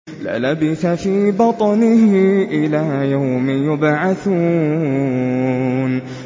لَلَبِثَ فِي بَطْنِهِ إِلَىٰ يَوْمِ يُبْعَثُونَ